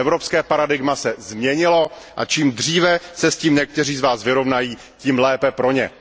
evropské paradigma se změnilo, a čím dříve se s tím někteří z vás vyrovnají, tím lépe pro ně.